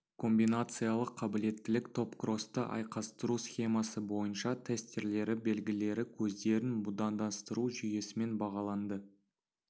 комбинациялық қабілеттілік топкросты айқастыру схемасы бойынша тестерлері белгілері көздерін будандастыру жүйесімен бағаланды